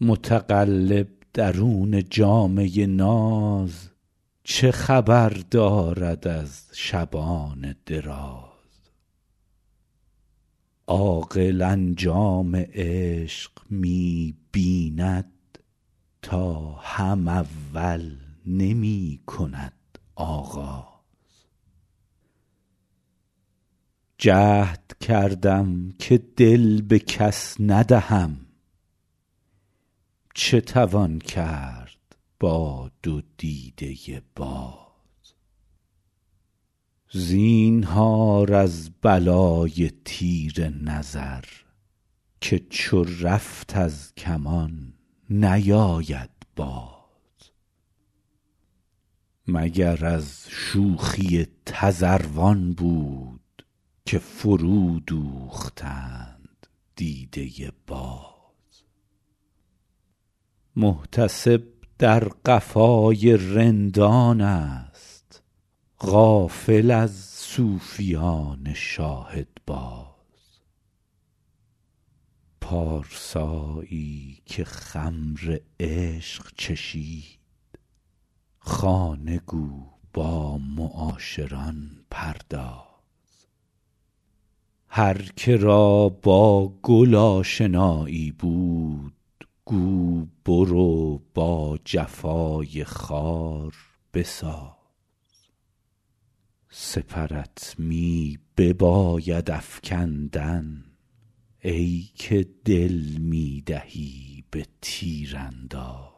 متقلب درون جامه ناز چه خبر دارد از شبان دراز عاقل انجام عشق می بیند تا هم اول نمی کند آغاز جهد کردم که دل به کس ندهم چه توان کرد با دو دیده باز زینهار از بلای تیر نظر که چو رفت از کمان نیاید باز مگر از شوخی تذروان بود که فرودوختند دیده باز محتسب در قفای رندانست غافل از صوفیان شاهدباز پارسایی که خمر عشق چشید خانه گو با معاشران پرداز هر که را با گل آشنایی بود گو برو با جفای خار بساز سپرت می بباید افکندن ای که دل می دهی به تیرانداز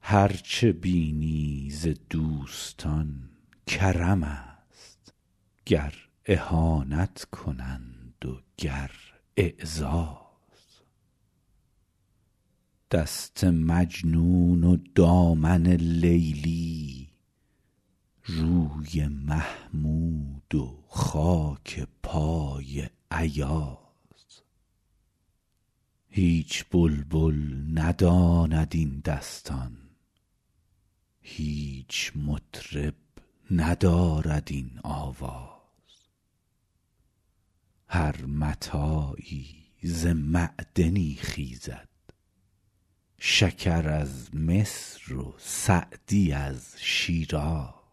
هر چه بینی ز دوستان کرمست گر اهانت کنند و گر اعزاز دست مجنون و دامن لیلی روی محمود و خاک پای ایاز هیچ بلبل نداند این دستان هیچ مطرب ندارد این آواز هر متاعی ز معدنی خیزد شکر از مصر و سعدی از شیراز